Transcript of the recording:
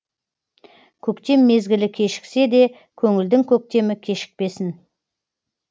көктем мезгілі кешіксе де көңілдің көктемі кешікпесін